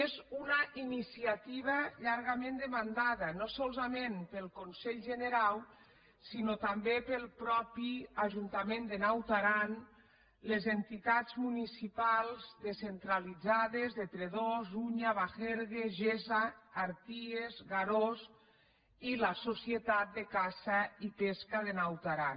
és una iniciativa llargament demanada no solament pel conselh generau sinó també pel mateix ajunta·ment de naut aran les entitats municipals descen·tralitzades de tredòs unha bagergue gessa arties garòs i la societat de caça i pesca de naut aran